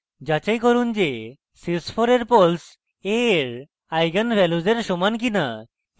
যাচাই করুন যে sys4 এর poles a এর eigenvalues এর সমান কিনা